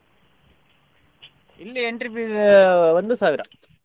ಇಲ್ಲಿ entry fees ಒಂದು ಸಾವಿರ.